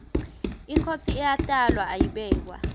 inkhosi iyatalwa ayibekwa